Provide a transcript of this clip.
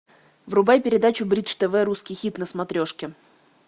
врубай передачу бридж тв русский хит на смотрешке